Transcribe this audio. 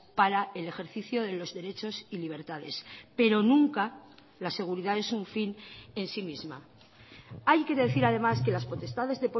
para el ejercicio de los derechos y libertades pero nunca la seguridad es un fin en sí misma hay que decir además que las potestades